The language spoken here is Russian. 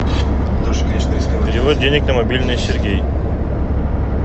перевод денег на мобильный сергей